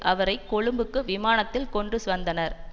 அவரை கொழும்புக்கு விமானத்தில் கொண்டுவந்தனர்